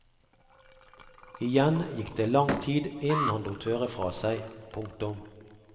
Igjen gikk det lang tid innen han lot høre fra seg. punktum